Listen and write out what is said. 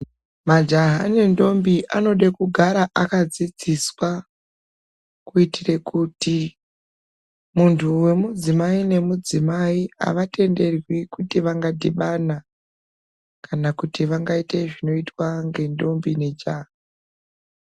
Majaha nendombi anode kugara akadzidziswa kuitire kuti muntu wemudzimai nemudzimai havatenderwi kuti vanagadhibana kana kuti vangaite zvinoitwa ngendombi nejaha.